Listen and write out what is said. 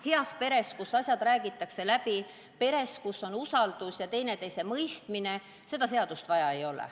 Heas peres, kus asjad räägitakse läbi, peres, kus on usaldus ja teineteisemõistmine, seda seadust vaja ei ole.